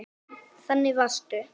Þannig varstu.